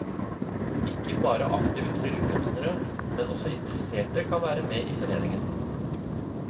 Ikke bare aktive tryllekunstnere, men også interesserte kan være med i foreningen.